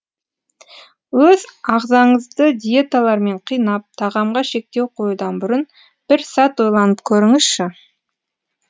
өз ағзаңызды диеталармен қинап тағамға шектеу қоюдан бұрын бір сәт ойланып көріңізші